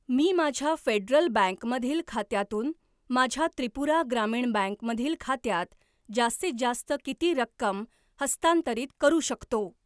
मी माझ्या Federal Bank मधील खात्यातून माझ्या त्रिपुरा ग्रामीण बँक मधील खात्यात जास्तीत जास्त किती रक्कम हस्तांतरित करू शकतो?